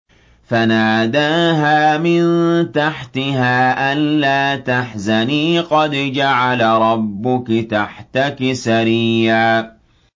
فَنَادَاهَا مِن تَحْتِهَا أَلَّا تَحْزَنِي قَدْ جَعَلَ رَبُّكِ تَحْتَكِ سَرِيًّا